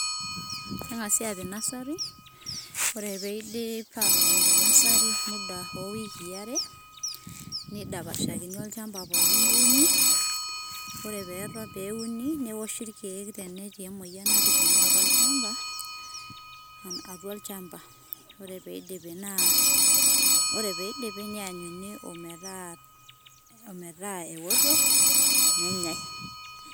Kengasi apik nasari, ore peidip atotoni te nasari muda o wiki are neidapashakini olchamba pokin neuni. ore pee uni neoshi ilkeek tenetii emoyian natijingua atua olchamba, atua olchamba, ore peidipi naa ore peindipi nianyuni ometa eoto nenyae.